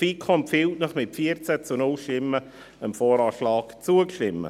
Die FiKo empfiehlt Ihnen mit 14 zu 0 Stimmen, dem VA zuzustimmen.